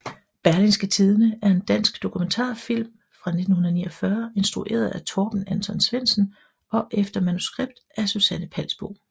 Berlingske Tidende er en dansk dokumentarfilm fra 1949 instrueret af Torben Anton Svendsen og efter manuskript af Susanne Palsbo